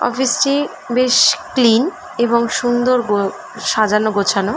office - টি বেশ clean বেশ সুন্দর গ সাজানো গোছানো--